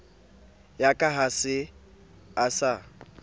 ya ka ha e sa